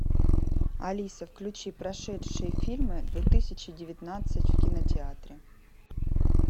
алиса включи прошедшие фильмы две тысячи девятнадцать в кинотеатре